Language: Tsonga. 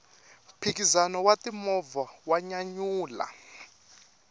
mphikizano wa ti movha wa nyanyula